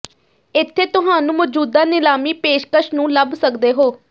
ਇੱਥੇ ਤੁਹਾਨੂੰ ਮੌਜੂਦਾ ਨਿਲਾਮੀ ਪੇਸ਼ਕਸ਼ ਨੂੰ ਲੱਭ ਸਕਦੇ ਹੋ